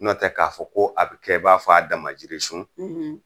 Nɔtɛ ka fɔ ko a be kɛ ba fɔ a dama jirisun